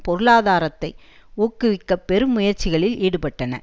பொருளாதாரத்தை ஊக்குவிக்க பெரும் முயற்சிகளில் ஈடுபட்டன